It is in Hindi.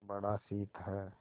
बड़ा शीत है